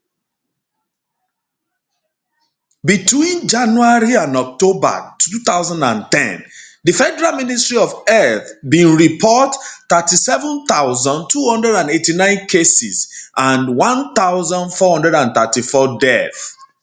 between january and october 2010 di federal ministry of health bin report 37289 cases and 1434 deaths